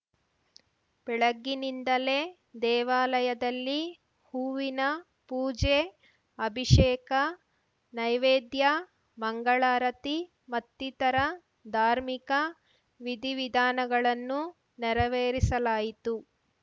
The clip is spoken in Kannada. ಬೆಳಗ್ಗಿನಿಂದಲೇ ದೇವಾಲಯದಲ್ಲಿ ಹೂವಿನಪೂಜೆ ಅಭಿಷೇಕ ನೈವೇದ್ಯ ಮಂಗಳಾರತಿ ಮತ್ತಿತರ ಧಾರ್ಮಿಕ ವಿಧಿವಿಧಾನಗಳನ್ನು ನೆರವೇರಿಸಲಾಯಿತು